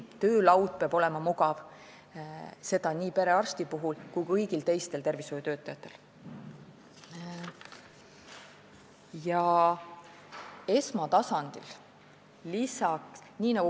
Töölaud peab olema mugav, seda nii perearstil kui ka kõigil teistel tervishoiutöötajatel.